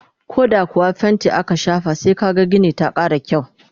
koh da kuwa fainti aka shafa sai kaga Gini ta Kara kyau